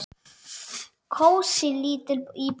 Kósí, lítil íbúð.